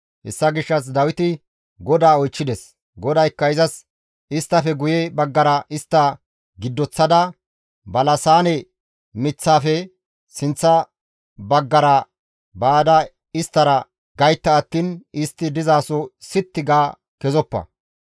Hessa gishshas Dawiti GODAA oychchides; GODAYKKA izas, «Isttafe guye baggara istta giddoththada balasaane miththaafe sinththa baggara baada isttara gaytta attiin istti dizaso sitti ga kezoppa.